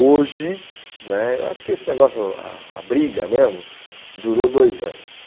Hoje né, eu acho que esse negócio, a a briga mesmo, durou dois anos.